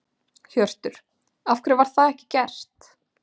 Hjörtur: Af hverju var það ekki gert?